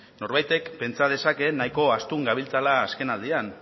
norbaitek pentsa dezake nahiko astun gabiltzala azken aldian